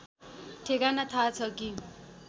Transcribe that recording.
ठेगाना थाहा छ कि